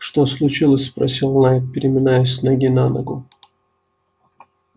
что случилось спросил найд переминаясь с ноги на ногу